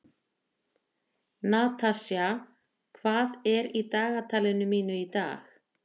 Natasja, hvað er í dagatalinu mínu í dag?